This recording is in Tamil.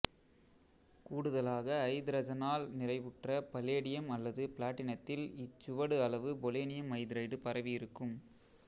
கூடுதலாகஐதரசனால் நிறைவுற்ற பலேடியம் அல்லது பிளாட்டினத்தில் இச்சுவடு அளவு பொலோனியம் ஐதரைடு பரவியிருக்கும்